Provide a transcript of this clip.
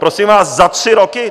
Prosím vás, za tři roky?